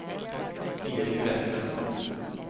Erik Vestlund